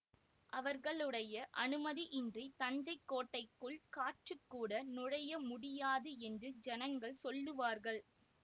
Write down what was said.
அவர்களுடைய அனுமதியின்றித் தஞ்சை கோட்டைக்குள் காற்றுக்கூட நுழைய முடியாது என்று ஜனங்கள் சொல்லுவார்கள்